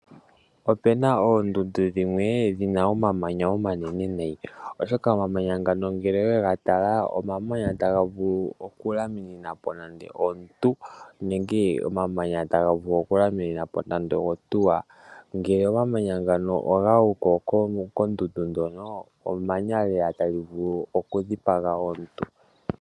Opena oondundu dhimwe dhina omamanya omanene nayi oshoka omamanya ngano ngele wega tala omamanya taga vulu okulyamininapo omuntu nenge ohauto. Omamanya ngano ngele ogaguko kondundu ndjono emanya lela tali vulu oku dhipaga omuntu.